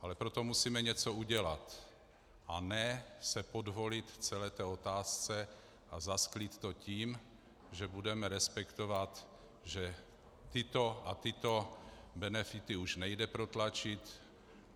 Ale pro to musíme něco udělat, a ne se podvolit celé otázce a zasklít to tím, že budeme respektovat, že tyto a tyto benefity už nejde protlačit.